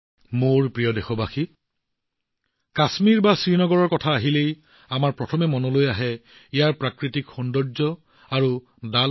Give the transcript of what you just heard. মোৰ মৰমৰ দেশবাসীসকল যেতিয়া কাশ্মীৰ বা শ্ৰীনগৰৰ কথা আহে আমাৰ মনলৈ অহা প্ৰথম ছবিখন হৈছে ইয়াৰ উপত্যকা আৰু ডাল হ্ৰদ